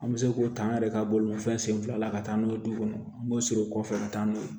An bɛ se k'o ta an yɛrɛ ka bolimafɛn sen fila la ka taa n'o ye du kɔnɔ an b'o siri o kɔfɛ ka taa n'o ye